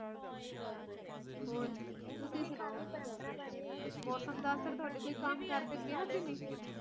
ਹਾ ਇਹ ਗੱਲ ਤਾ ਹੇਗੀ ਆ ਹੋਰ ਤੁਸੀਂ ਸੁਣਾਓ ਮੌਸਮ ਦਾ ਅਸਰ ਤੁਹਾਡੇ ਕੋਈ ਕੰਮ ਕਰ ਤੇ ਪਿਆ ਕਿਤੇ